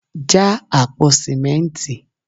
já àpò sìmẹ́ntì